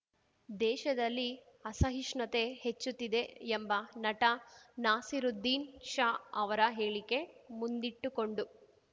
ದೇಶದಲ್ಲಿ ಅಸಹಿಷ್ಣುತೆ ಹೆಚ್ಚುತ್ತಿದೆ ಎಂಬ ನಟ ನಾಸಿರುದ್ದೀನ್‌ ಶಾ ಅವರ ಹೇಳಿಕೆ ಮುಂದಿಟ್ಟುಕೊಂಡು